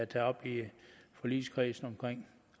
taget op i forligskredsen omkring